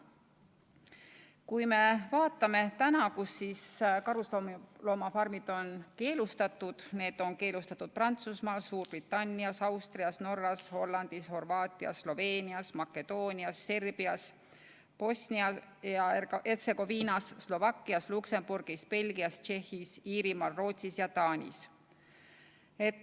Kui me vaatame täna, kus karusloomafarmid on keelustatud, siis need on keelustatud Prantsusmaal, Suurbritannias, Austrias, Norras, Hollandis, Horvaatias, Sloveenias, Makedoonias, Serbias, Bosnias ja Hertsegoviinas, Slovakkias, Luksemburgis, Belgias, Tšehhis, Iirimaal, Rootsis ja Taanis.